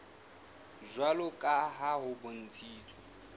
jwalo ka ha ho bontshitswe